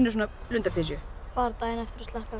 lundapysju fara daginn eftir og sleppa þeim